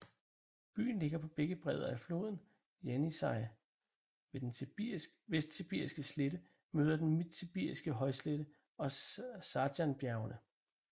Byen ligger på begge bredder af floden Jenisej ved den Vestsibiriske slette møder den Midtsibiriske højslette og Sajanbjergene